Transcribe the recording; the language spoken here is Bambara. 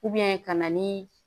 ka na ni